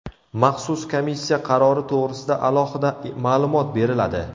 Maxsus komissiya qarori to‘g‘risida alohida ma’lumot beriladi.